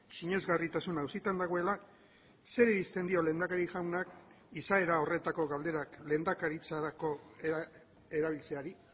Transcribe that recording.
sinesgarritasuna auzitan dagoela zer irizten dio lehendakari jaunak izaera horretako galderak lehendakaritzarako erabiltzeari